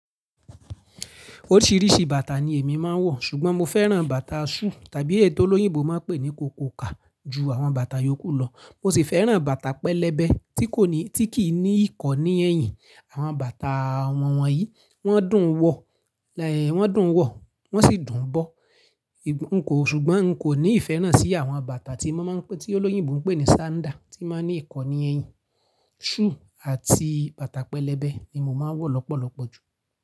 Oríṣìíríṣìí bàtà ni èmi máa ń wọ̀, ṣùgbọ́n mo fẹ́ràn bàtà súù tàbí èyí tó olóyìnbó máa ń pè ní kòkókà ju àwọn bàtà yòókù lọ. Mo sì fẹ́ràn bàtà pẹlẹbẹ tí kò ní, tí kì í ní ìkọ́ni ẹ̀yìn. Àwọn bàtà wọ̀wọ̀n yìí wọ́n dùn wọ̀, eh, wọ́n dùn wọ̀, wọ́n sì dùn bọ̀. N kò, ṣùgbọ́n n kò ní ìfẹ́ náà sí àwọn bàtà tí wọ́n máa ń pe, tí olóyìnbó ń pè ní sander, tí máa ń ní ìkọ́ni ẹ̀yìn. Súù àti bàtà pẹlẹbẹ ni mo máa ń wọ̀ lọ́pọ̀lọpọ̀ ju.